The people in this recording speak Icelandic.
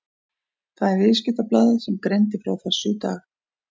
Það er Viðskiptablaðið sem greindi frá þessu í dag.